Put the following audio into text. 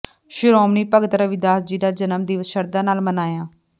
ਸ਼੍ਰੋਮਣੀ ਭਗਤ ਰਵਿਦਾਸ ਜੀ ਦਾ ਜਨਮ ਦਿਵਸ ਸ਼ਰਧਾ ਨਾਲ ਮਨਾਇਆ